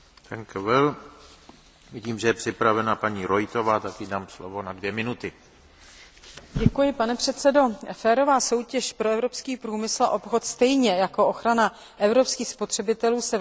Férová soutěž pro evropský průmysl a obchod stejně jako ochrana evropských spotřebitelů se v globalizovaném obchodě neobejde bez definování určitých standardů výroby a také informací o výrobcích pro spotřebitele.